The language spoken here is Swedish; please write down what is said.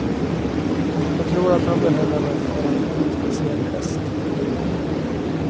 Jag tror att han behöll henne för att hon är en speciell häst.